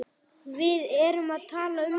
Við erum að tala um það!